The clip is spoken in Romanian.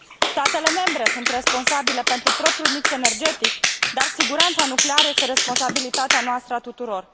Statele membre sunt responsabile pentru propriul mix energetic, dar siguranța nucleară este responsabilitatea noastră, a tuturor.